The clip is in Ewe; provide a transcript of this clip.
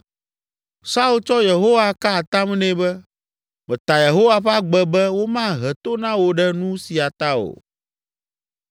Saul tsɔ Yehowa ka atam nɛ be, “Meta Yehowa ƒe agbe be womahe to na wò ɖe nu sia ta o.”